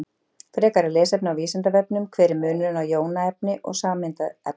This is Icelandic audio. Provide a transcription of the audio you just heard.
Frekara lesefni á Vísindavefnum: Hver er munurinn á jónaefni og sameindaefni?